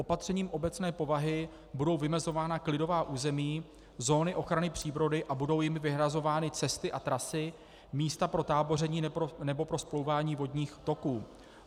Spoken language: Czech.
Opatřením obecné povahy budou vymezována klidová území, zóny ochrany přírody a budou jim vyhrazovány cesty a trasy, místa pro táboření nebo pro splouvání vodních toků.